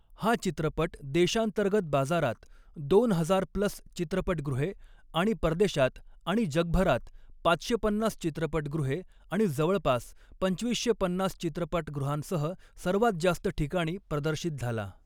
हा चित्रपट देशांतर्गत बाजारात दोन हजार प्लस चित्रपटगृहे आणि परदेशात आणि जगभरात पाचशे पन्नास चित्रपटगृहे आणि जवळपास दोन हजार पाचशे पन्नास चित्रपटगृहांसह सर्वात जास्त ठिकाणी प्रदर्शित झाला.